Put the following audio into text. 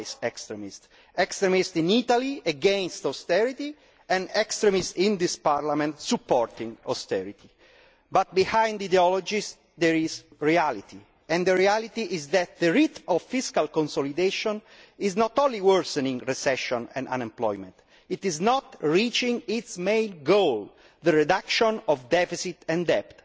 extremist twice over extremist in Italy against austerity, and extremist in this Parliament in supporting austerity, but behind the ideologies there is reality, and the reality is that the rate of fiscal consolidation is not only worsening the recession and unemployment, it is not reaching its main goal the reduction of deficit and debt.